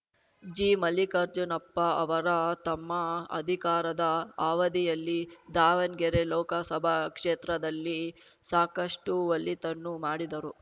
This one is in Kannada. ಜಿಮಲ್ಲಿಕಾರ್ಜುನಪ್ಪ ಅವರ ತಮ್ಮ ಅಧಿಕಾರದ ಅವಧಿಯಲ್ಲಿ ದಾವಣ್ಗೆರೆ ಲೋಕಸಭಾ ಕ್ಷೇತ್ರದಲ್ಲಿ ಸಾಕಷ್ಟುಒಳಿತನ್ನು ಮಾಡಿದರು